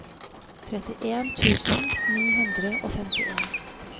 trettien tusen ni hundre og femtien